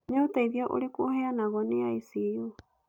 Nĩ ũteithio ũrĩkũ ũheanagwo nĩ ICU?